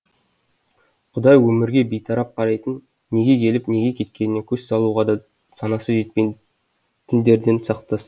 құдай өмірге бейтарап қарайтын неге келіп неге кеткеніне көз салуға да санасы жетпейтіндерден сақтасын